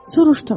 Soruşdum: